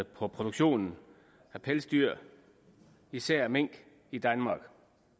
produktionen af pelsdyr især af mink i danmark